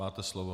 Máte slovo.